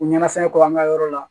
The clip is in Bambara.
U ɲɛna fɛn kɔ an ka yɔrɔ la